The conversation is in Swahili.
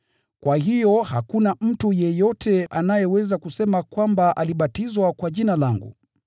Kwa hiyo hakuna mtu yeyote anayeweza kusema kwamba alibatizwa kwa jina langu.